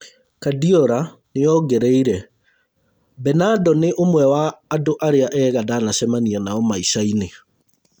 Kuardiola nĩongereire. Bernado nĩ ũmwe wa andũ arĩa ega ndanacemania nao maicainĩ